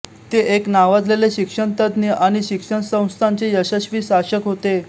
ते एक नावाजलेले शिक्षणतज्ज्ञ आणि शिक्षण संस्थांचे यशस्वी शासक होत